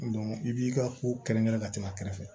i b'i ka ko kɛrɛnkɛrɛn ka tɛmɛ a kɛrɛfɛ